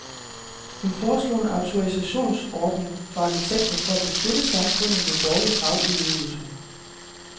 Hun foreslog en autorisationsordning for arkitekter for at beskytte samfundet mod dårlig fagudøvelse.